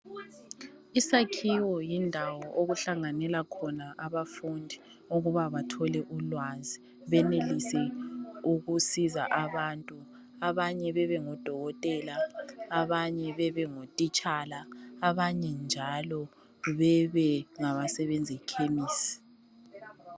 Isakhiwo yindawo okuhlnganela khona abafundi ukuba bathole ulwazi benelise ukusiza abantu abanye bebengodokotela abanye bebengutitshala abanye njalo bebengabasebenze ekhemesi